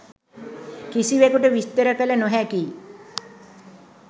කිසිවෙකුට විස්තර කළ නොහැකියි.